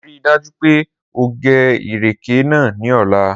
Rii daju pe o ge ireke naa ni ọla.